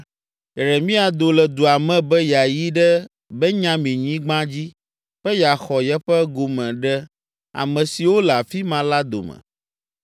Yeremia do le dua me be yeayi ɖe Benyaminyigba dzi be yeaxɔ yeƒe gome ɖe ame siwo le afi ma la dome.